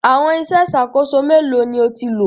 Àwọn iṣẹ́ ìṣàkóso mélòó ni o ti lò?